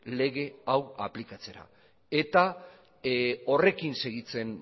lege hau aplikatzera eta horrekin segitzen